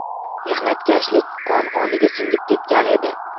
Mehnatkashlik qon-qoniga singib ketgan edi.